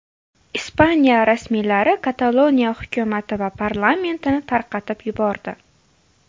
Ispaniya rasmiylari Kataloniya hukumati va parlamentini tarqatib yubordi.